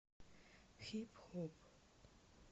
хип хоп